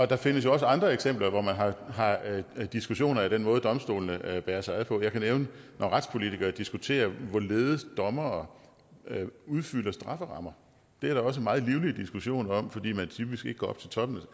der findes jo også andre eksempler hvor man har diskussioner af den måde domstolene bærer sig ad på jeg kan nævne at når retspolitikere diskuterer hvorledes dommere udfylder strafferammer er der også meget livlig diskussion om det fordi man typisk ikke går op til toppen